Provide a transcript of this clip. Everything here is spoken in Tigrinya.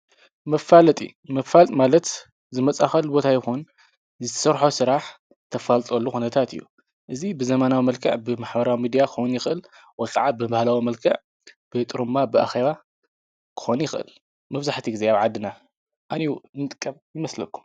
መፋለጢ መፋልጥ ማለት ዝመጻኸል ቦታ ይኹን ዝሠርሖ ሥራሕ ተፋልፅወሉ ኾነታት እዩ እዝ ብዘማናዊ መልከዕ ብምኅበራ ሚድያ ኮን ይኽእል ወፅዓ ብብህላዊ መልከዕ ብጥሩ ምማ ብኣኸዋ ኮን ይኽእል መፍዙሕቲ እግዚኣብ ዓድና ኣንዩ ንጥቀብ ይመስለኩም።